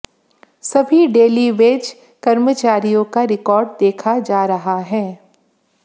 सभी डेलीवेज कर्मचारियों का रिकार्ड देखा जा रहा है